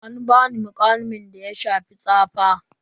An bani muƙamin da ya shafi tsafa.